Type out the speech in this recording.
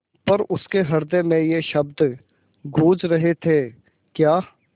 पर उसके हृदय में ये शब्द गूँज रहे थेक्या